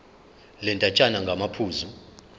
le ndatshana ngamaphuzu